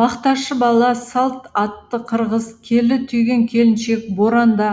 бақташы бала салт атты қырғыз келі түйген келіншек боранда